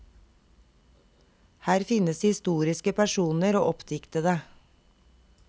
Her finnes historiske personer og oppdiktede.